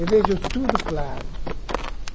Eu vejo tudo claro.